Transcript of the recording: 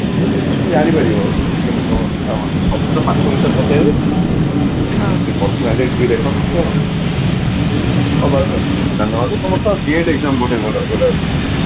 ତମେ ଜାଣି ପାରିବ କେମିତି କଣ ପଚାରନ୍ତି ସବୁ ତ ପଥ ବିଷୟରେ ପଚାରିବେନି ସେ personality ବି ଦେଖନ୍ତି GATE exam